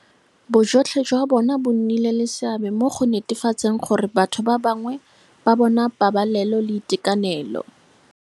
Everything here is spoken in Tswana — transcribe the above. Bojotlhe jwa bona bo nnile le seabe mo go netefatseng gore batho ba bangwe ba bona pabalelo le itekanelo.